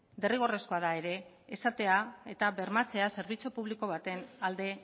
derrigorrezkoa da ere esatea eta bermatzea zerbitzu publiko baten alde